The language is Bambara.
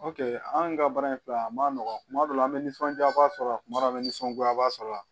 anw ka baara in filɛ a ma nɔgɔ kuma dɔ la an bɛ nisɔndiyaba sɔrɔ a kuma dɔw la nisɔngoya sɔrɔ la